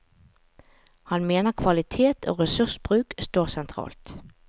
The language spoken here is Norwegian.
Han mener kvalitet og ressursbruk står sentralt.